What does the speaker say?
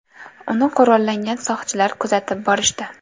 Uni qurollangan soqchilar kuzatib borishdi.